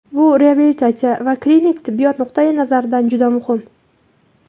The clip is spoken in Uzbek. Bu reabilitatsiya va klinik tibbiyot nuqtayi nazaridan juda muhim.